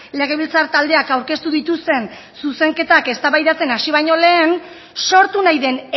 legebiltzar taldeak aurkeztu dituzten zuzenketak eztabaidatzen hasi baino lehen sortu nahi den